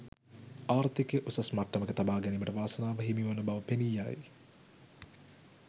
ආර්ථිකය උසස් මට්ටමක තබා ගැනීමට වාසනාව හිමිවන බව පෙනී යයි.